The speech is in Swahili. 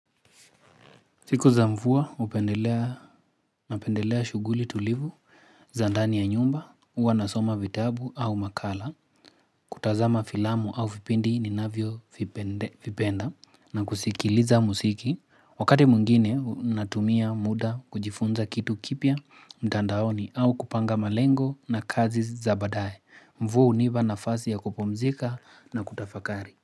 Siku za mvua hupendelea shuguli tulivu, za ndani ya nyumba, uwa nasoma vitabu au makala, kutazama filamu au vipindi ni navyo vipenda na kusikiliza muziki. Wakati mwingine natumia muda kujifunza kitu kipya mtandaoni au kupanga malengo na kazi za baadae. Mvua uniba na fasi ya kupumzika na kutafakari.